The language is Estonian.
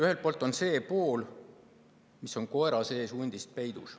Esiteks see pool, mis on koera sees hundist.